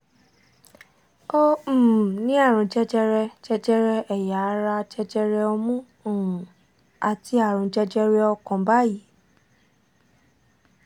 ó um ní àrùn jẹjẹrẹ jẹjẹrẹ ẹ̀yà ara jẹjẹrẹ ọmú um àti àrùn jẹjẹrẹ ọkàn báyìí